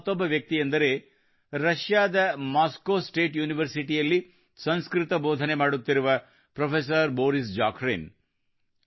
ಅಂತಹ ಮತ್ತೊಬ್ಬ ವ್ಯಕ್ತಿಯೆಂದರೆ ರಷ್ಯಾದ ಮಾಸ್ಕೋ ಸ್ಟೇಟ್ ಯೂನಿವರ್ಸಿಟಿಯಲ್ಲಿ ಸಂಸ್ಕೃತ ಬೋಧನೆ ಮಾಡುತ್ತಿರುವ ಪ್ರೊಫೆಸರ್ ಬೋರಿಸ್ ಖಾರಿನ್